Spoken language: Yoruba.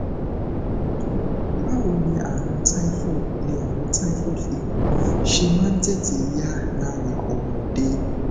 báwo ni àrùn typhoid ni àrùn typhoid fever ṣe máa ń tètè yá lára ọmọdé